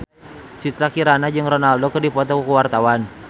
Citra Kirana jeung Ronaldo keur dipoto ku wartawan